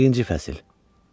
Birinci fəsil.